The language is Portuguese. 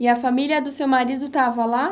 E a família do seu marido estava lá?